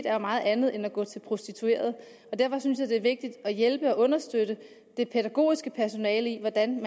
er meget andet end at gå til prostituerede derfor synes jeg at det er vigtigt at hjælpe og understøtte det pædagogiske personale i hvordan